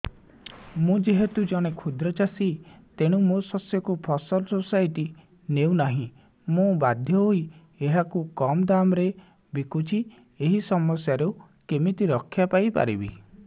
ମୁଁ ଯେହେତୁ ଜଣେ କ୍ଷୁଦ୍ର ଚାଷୀ ତେଣୁ ମୋ ଶସ୍ୟକୁ ଫସଲ ସୋସାଇଟି ନେଉ ନାହିଁ ମୁ ବାଧ୍ୟ ହୋଇ ଏହାକୁ କମ୍ ଦାମ୍ ରେ ବିକୁଛି ଏହି ସମସ୍ୟାରୁ କେମିତି ରକ୍ଷାପାଇ ପାରିବି